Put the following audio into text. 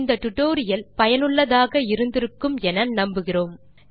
இந்த டியூட்டோரியல் ஐ ரசித்து இருப்பீர்கள் மற்றும் பயன்படும் என்று நம்புகிறோம்